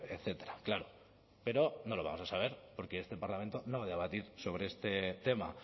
etcétera claro pero no lo vamos a saber porque este parlamento no va a debatir sobre este tema